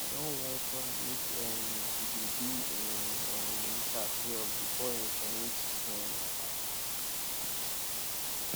i don warn frank make um he dey do im um research well before he submit um am